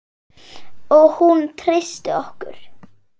Og hún treysti okkur.